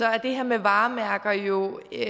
er det her med varemærker jo et